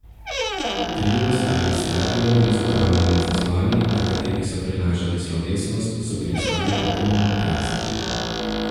Trije ostali stadioni z ogromnimi zasloni, na katerih so prenašali slovesnost, so bili skoraj popolnoma prazni.